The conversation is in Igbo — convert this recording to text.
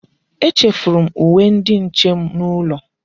Echefuru m uwe ndi nche m n'ụlọ.